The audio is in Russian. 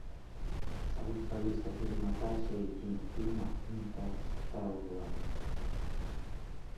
салют алиса перемотай в середину фильма интерстеллар